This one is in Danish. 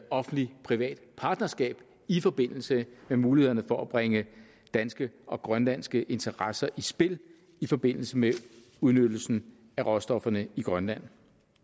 offentlig privat partnerskab i forbindelse med mulighederne for at bringe danske og grønlandske interesser i spil i forbindelse med udnyttelsen af råstofferne i grønland